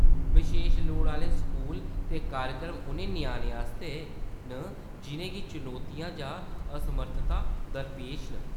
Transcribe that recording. बशेश लोड़ आह्‌‌‌ले स्कूल ते कार्यक्रम उ'नें ञ्याणें आस्तै न जि'नें गी चुनौतियां जां असमर्थतां दरपेश न।